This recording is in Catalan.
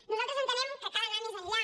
nosaltres entenem que cal anar més enllà